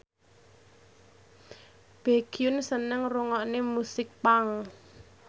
Baekhyun seneng ngrungokne musik punk